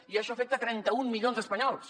i això afecta trenta un milions d’espanyols